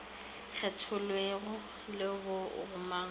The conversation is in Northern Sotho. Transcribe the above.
kgethelwego le bo gomang ka